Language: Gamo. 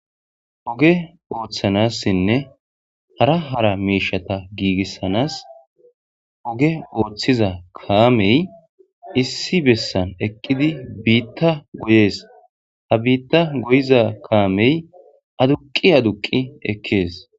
Oge othanassinne hara hara miishata giigissanaas oge oothiza kaamey issi bessan eqqidi biitta goyees ha biitta goyiza kaamey aduqi aduqi ekkees.